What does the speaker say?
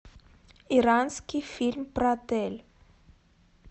иранский фильм про отель